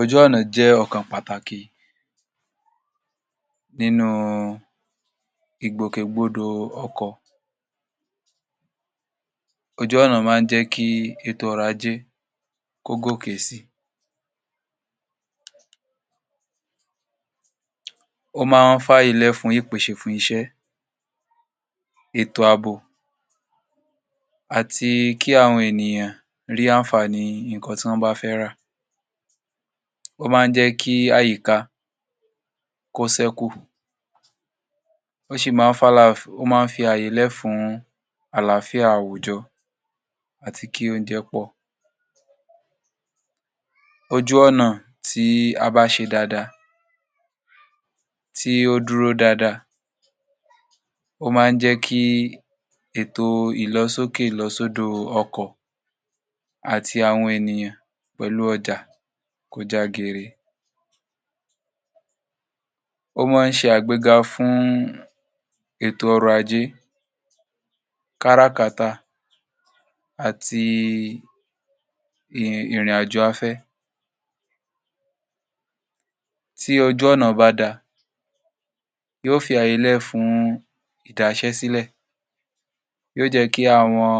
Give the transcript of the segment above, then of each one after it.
Ojú ọ̀nà jẹ́ ọ̀kan pàtàkì nínú ìgbòkègbodò ọkọ̀, ojú ọ̀nà máa ń jẹ́ kí ètò ọrọ̀ ajé kó gòkè si. Ó máa ń f’àyè lẹ̀ fún ìpèsè fún iṣẹ́, ètò àbò àti kí àwọn ènìyàn rí àǹfààní nǹkan tí wọ́n bá fẹ́ rà, ó máa ń jẹ́ kí àyíká kó ṣẹ́kù ó sì máa um ó máa ń fi ààyè lẹ̀ fún àlááfíà àwùjọ àti kí oúnjẹ pọ̀. Ojú ọ̀nà tí a bá ṣe dáadáa, tí ó dúró dáadáa, ó máa ń jẹ́ kí ètò ìlọsókè ìlọsódò ọkọ̀ àti àwọn ènìyàn àti ọjà kó já gere. Ó máa ń ṣe àgbéga fún ètò ọrọ̀ ajé, káràkátà àti ìrìnàjò afẹ́ tí ojú ọ̀nà bá da yóò fi ààyè lẹ̀ fún ìdáṣẹ́sílẹ̀. Yóò jẹ́ kí àwọn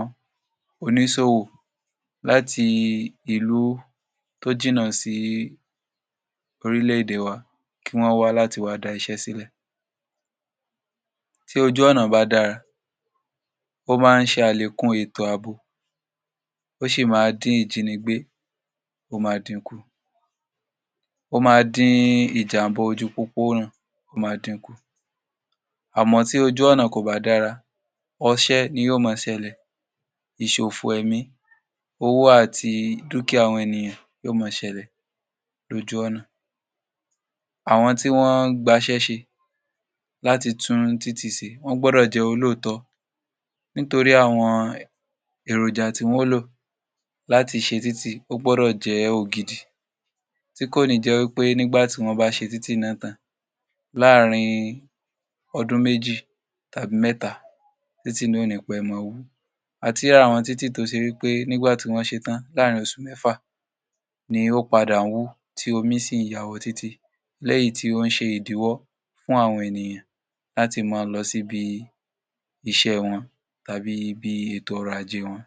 oníṣòwò láti ìlú tó jìnnà sí orílẹ̀-èdè wa kí wọ́n wá láti wá dá iṣẹ́ sílẹ̀. Tí ojú ọ̀nà bá dára, ó máa ń ṣe àlékún ètò àbò, ó sì máa ń dín ìjínigbé ó máa din kù, ó máa dín ìjàmbá ojú pópónà ó máa din kù àmọ́ tí ojú ọ̀nà kò bá dára, ọṣẹ́ ni yóò máa ṣẹlẹ̀, ìṣòfò ẹ̀mí, owó àti dúkìá àwọn ènìyàn ni yó máa ṣẹlẹ̀ lójú ọ̀nà. Àwọn tí wọ́n ń gba’ṣẹ́ ṣe láti tún títì ṣe wọ́n gbúdọ̀ jẹ́ olóòtọ́ nítorí àwọn èròjà tí wọn ó lò láti ṣe títì ó gbúdọ̀ jẹ́ ògidì tí kò ní jẹ́ wí pé nígbà tí wọ́n bá ṣe títì náà tán láàrin ọdún méjì tàbí mẹ́ta títì náà ò ní pẹ́ máa wú. A ti rí àwọn títì tó ṣe wí pé nígbà tí wọ́n ṣe tán láàrin oṣù mẹ́fà ni ó padà ń wú tí omi sì ń ya wọ títì léyì tí ó ń se ìdíwọ́ fún àwọn ènìyàn láti máa lọ síbi iṣẹ́ wọn tàbí ibi ètò ọrọ̀ ajé wọn.